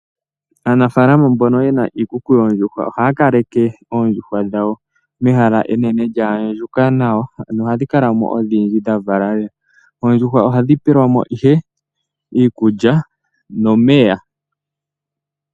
Aanafaalama mbono yena iikuku yoondjuhwa ohaya kaleke oondjuhwa dhawo mehala enene lyaandjuka nawa, ano ohadhi kala mo odhindji dhavala lela. Oondjuhwa ohadhi pelwamo ihe iikulya nomeya.